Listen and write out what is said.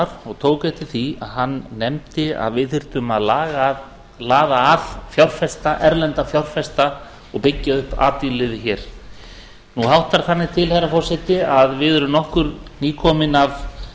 ólafssonar og tók eftir því að hann nefndi að við þyrftum að laða að erlenda fjárfesta og byggja upp atvinnulífið hér nú háttar þannig til herra forseti að við erum nokkur nýkomin af